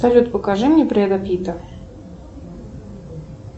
салют покажи мне бреда питта